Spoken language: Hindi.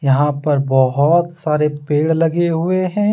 यहां पर बहोत सारे पेड़ लगे हुए हैं।